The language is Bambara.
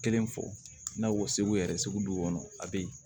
Kelen fɔ n'a ko segu yɛrɛ segu du kɔnɔ a be yen